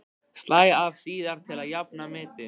Slæ af síðar til að jafna metin.